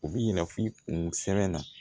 U b'i yira f'i kun sɛbɛn na